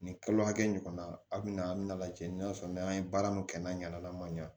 Nin kalo hakɛ ɲɔgɔn na a bina lajɛ n'a sɔrɔ n'an ye baara min kɛ n'a ɲana ma ɲa